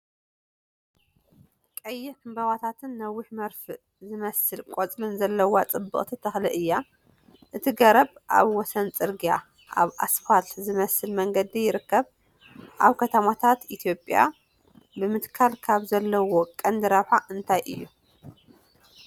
ቀይሕ ዕምባባታትን ነዊሕን መርፍእ ዝመስል ቆጽልን ዘለዋ ጽብቕቲ ተኽሊ እዩ። እቲ ገረብ ኣብ ወሰን ጽርግያ (ኣብ ኣስፋልት ዝመስል መንገዲ) ይርከብ፣ ኣብ ከተማታት ኢትዮጵያ ብምትካል ካብ ዘለዎ ቀንዲ ረብሓ እንታይ እዩ?